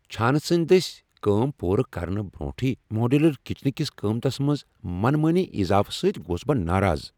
چھانہٕ سٕندۍ دٔسۍ کٲم پورٕ کرنہٕ برونٛہٕے ماڈیولر کچنہٕ کس قیمتس منز منمٲنی اضافہٕ سۭتۍ گووس بہٕ ناراض ۔